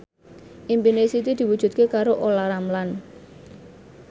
impine Siti diwujudke karo Olla Ramlan